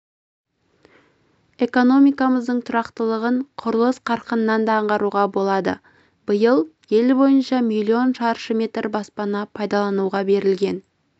экономикамыздың тұрақтылығын құрылыс қарқынынан да аңғаруға болады биыл ел бойынша миллион шаршы метр баспана пайдалануға берілген